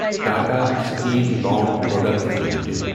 Tata steel long products limited